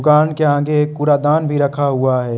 दुकान के आगे एक कूड़ा दान भी रखा हुआ है।